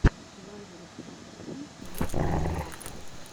лазарев тактикал лучший эпизод